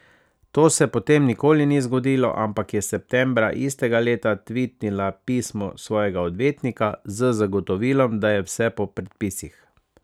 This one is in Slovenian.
To se potem nikoli ni zgodilo, ampak je septembra istega leta tvitnila pismo svojega odvetnika z zagotovilom, da je vse po predpisih.